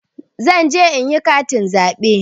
Zanje inyi katin zaɓe